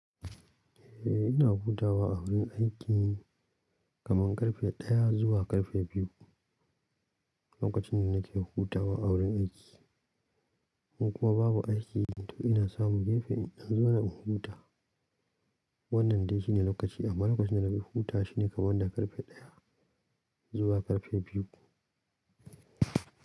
Eh ina hutawa a wurin aiki kamar karfe daya zuwa karfe biyu, lokacin nake hutawa a wurin aiki. In kuma babu aiki to ina samun gefe in zauna in huta. Wannan dai shine lokaci amma lokacin da na fi huta shine kaman da karfe ɗaya zuwa karfe biyu.